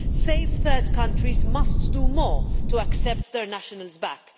Safe third countries must do more to accept their nationals back.